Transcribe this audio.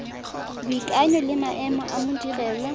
boikanyo le maemo a modirelwa